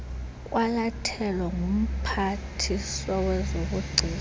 kwalathelwa ngumphathiswa wezobugcisa